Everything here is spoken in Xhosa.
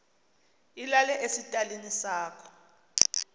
ilale esitalini sakho